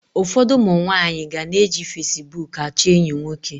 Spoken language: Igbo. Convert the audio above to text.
Ụfọdụ ụmụ nwaanyị ga na-eji fasibuuku achọ enyi nwoke.